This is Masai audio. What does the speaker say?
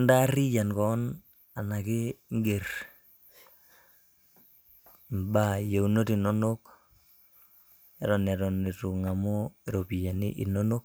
Intaarriyian keon enake iger imbaa yieunot inonok, eton eton itu ng'amu ropiyaiani inonok,